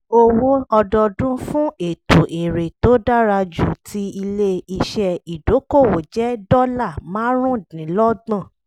owó ọdọọdún fún ètò èrè tó dára jù ti ilé-iṣẹ́ ìdókòwò jẹ́ dọ́là márùndínlọ́gbọ̀n